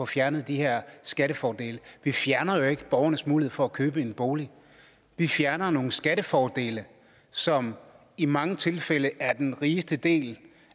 fjerner de her skattefordele vi fjerner jo ikke borgernes mulighed for at købe en bolig vi fjerner nogle skattefordele som i mange tilfælde er den rigeste del